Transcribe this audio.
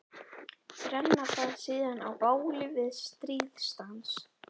Brenna það síðan á báli við stríðsdans.